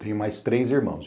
Tenho mais três irmãos.